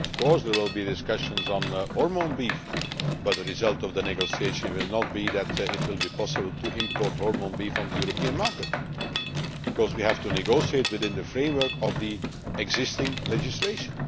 Of course there will be discussions on hormone beef, but the result of the negotiation will not be that it will be possible to import hormone beef into the European market, because we have to negotiate within the framework of the existing legislation.